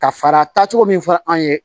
Ka fara taacogo min fɔ an ye